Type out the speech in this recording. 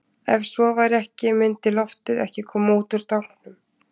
Ef svo væri ekki myndi loftið ekki koma út úr tanknum.